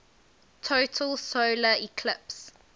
total solar eclipse